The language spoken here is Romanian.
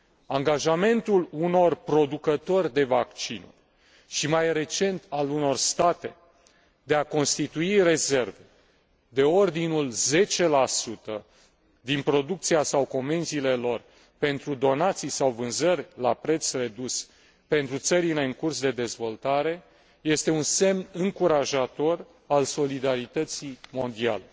Angajamentul unor productori de vaccinuri și, mai recent, al unor state de a constitui rezerve de ordinul 10 din producția sau comenzile lor pentru donații sau vânzări la preț redus pentru țările în curs de dezvoltare este un semn încurajator al solidarității mondiale.